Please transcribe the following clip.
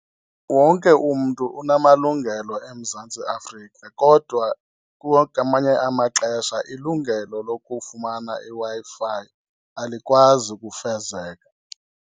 Wonke umntu unamalungelo eMzantsi Afrika kodwa amanye amaxesha ilungelo lokufumana iWi-Fi alikwazi kufezeka.